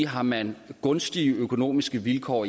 har man gunstigere økonomiske vilkår